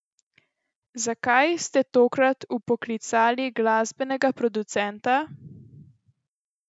Zakaj ste tokrat vpoklicali glasbenega producenta?